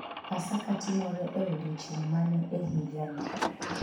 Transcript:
Pasaka timore e odiechieng ' mane e higani?